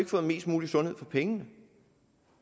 fået mest mulig sundhed for pengene